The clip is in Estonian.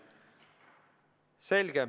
Selge.